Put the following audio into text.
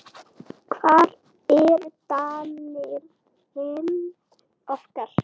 Hvar eru danirnir okkar?